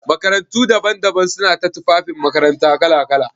Makarantu daban-daban suna ta tufafin makaranta kala-kala.